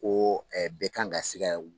Ko bɛ kan ka sika